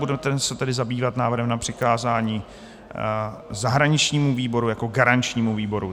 Budeme se tedy zabývat návrhem na přikázání zahraničnímu výboru jako garančnímu výboru.